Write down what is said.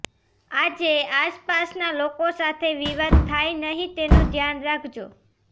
આજે આસપાસના લોકો સાથે વિવાદ થાય નહીં તેનું ધ્યાન રાખજો